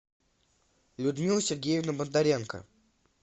людмила сергеевна бондаренко